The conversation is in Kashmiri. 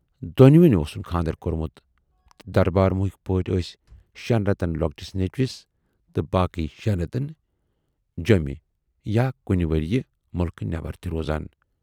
دۅنوٕنۍ اوسُن خاندر کورمُت تہٕ دربارموٗہٕکۍ پٲٹھۍ ٲسۍ شٮ۪ن رٮ۪تن لۅکٹِس نیچوِس تہٕ باقی شٮ۪ن رٮ۪تن جٮ۪مہِ یا کُنہِ ؤرۍیہِ مُلکہٕ نٮ۪بر تہِ روزان۔